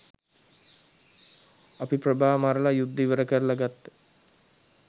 අපි ප්‍රභා මරල යුද්දෙ ඉවරකරල ගත්ත